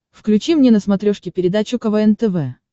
включи мне на смотрешке передачу квн тв